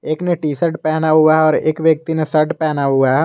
एक ने T shirt पहना हुआ और एक व्यक्ति ने शर्ट पहना हुआ है।